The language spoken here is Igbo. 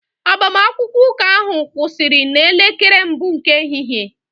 Agbamakwụkwọ ụka ahụ kwụsịrị n'elekere mbụ nke ehihie